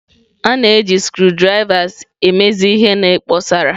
A na-eji screwdrivers emezi ihe na kposara.